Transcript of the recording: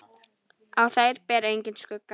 Á þær ber engan skugga.